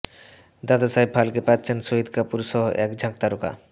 দাদাসাহেব ফালকে পাচ্ছেন শাহিদ কাপুর সহ এক ঝাঁক তারকা